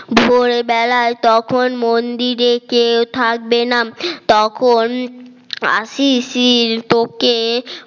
ভোর বেলায় তখন মন্দিরে কেউ থাকবে না তখন শিশির তোকে